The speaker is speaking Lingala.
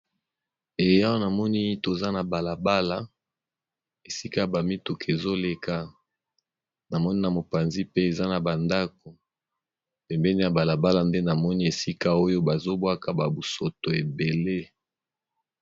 Awana namoni toza na balabala, esika ba mituka ezoleka namoni na mopanzi pe eza na bandako pembeni ya balabala nde namoni esika oyo bazobwaka musoto ebele.